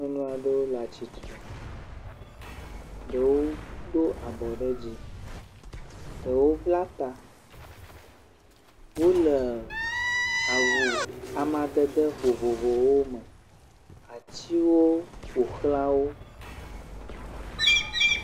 Nyɔnu aɖewo le atsitre, ɖewo do abɔ ɖe dzi. Ɖewo bla ta. Wole awu amadede vovovowo me. Atiwo ƒo xlã wo.